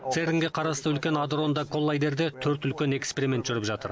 церн ге қарасты үлкен адронды коллайдерде төрт үлкен эксперимент жүріп жатыр